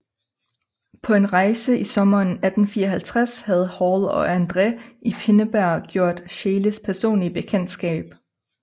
På en rejse i sommeren 1854 havde Hall og Andræ i Pinneberg gjort Scheeles personlige bekendtskab